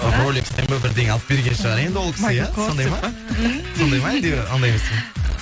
ролекстен ба бірдеңе алып берген шығар енді ол кісі иә сондай ма сондай ма әлде ондай емес па